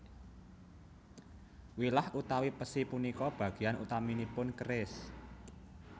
Wilah utawi pesi punika bagian utaminipun keris